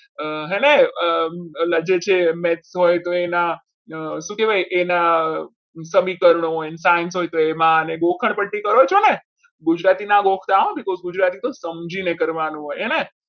એને શું કહેવાય એના સમીકરણ હોય ને સાંજ હોય તો એમાં ગોખણપટ્ટી કરો છો ને? ગુજરાતીના ગોખતા because ગુજરાતી તો સમજીને કરવાનું હોય હે ને